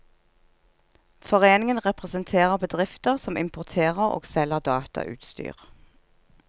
Foreningen representerer bedrifter som importerer og selger datautstyr.